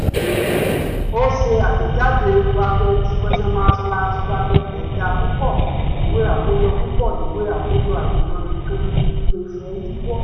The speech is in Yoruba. ó ṣe àtẹ̀jáde ẹ̀dà púpọ̀ ìwé àkójọ púpọ̀ ìwé àkójọ àìmọ́ nǹkan lè fẹ́ yíwọ́